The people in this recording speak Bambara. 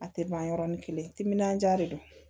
A tɛ ban yɔrɔni kelen timinandiya de don